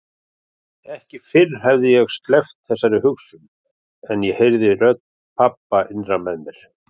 Ekki fyrr hafði ég sleppt þessari hugsun en ég heyrði rödd pabba innra með mér